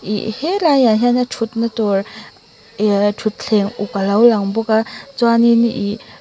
ih helaiah hianin thutna tur ih thutthleng uk a lo lang bawk a chuanin ihh--